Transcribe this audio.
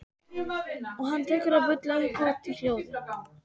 Og hann tekur að bulla upphátt og í hljóði.